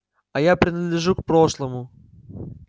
а я принадлежу к прошлому